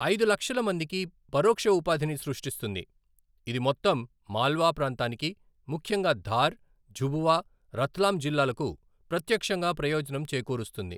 ఐదు లక్షల మందికి పరోక్ష ఉపాధిని సృష్టిస్తుంది, ఇది మొత్తం మాల్వా ప్రాంతానికి, ముఖ్యంగా ధార్, ఝబువా రత్లాం జిల్లాలకు ప్రత్యక్షంగా ప్రయోజనం చేకూరుస్తుంది.